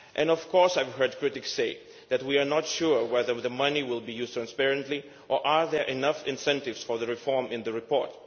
Of course, I have heard critics say that we are not sure whether the money will be used transparently or whether there are enough incentives for reform in the report.